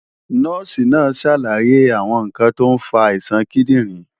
Nọ́ọ̀sì náà ń ṣàlàyé àwọn ǹkan tó ń fa àìsàn kíndìnrín